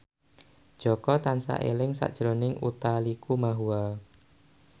Jaka tansah eling sakjroning Utha Likumahua